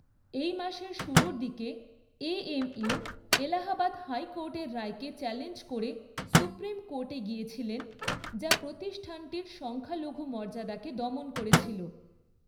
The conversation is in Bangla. এই মাসের শুরুর দিকে, এএমইউ এলাহাবাদ হাইকোর্টের রায়কে চ্যালেঞ্জ করে সুপ্রিম কোর্টে গিয়েছিলেন, যা প্রতিষ্ঠানটির সংখ্যালঘু মর্যাদাকে দমন করেছিল।